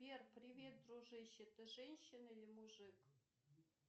сбер привет дружище ты женщина или мужик